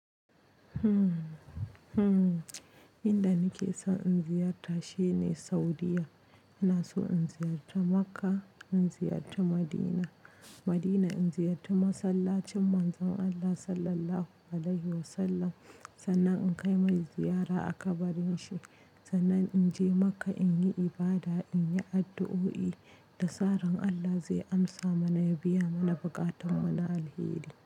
Hmm inda nake son in ziyarta shine Saudiyya. Ina so in ziyarci Makka, in ziyarci Madina. Madina in ziyarci masallacin Manzon Allah Sallallahu Alaihi Wasallam, sannan in kai mai ziyara a kabarinshi, sannan in je Makka in yi ibada, in yi addu'o'i. Da sa ran Allah zai amsa mana ya biya mana buƙatunmu na alheri.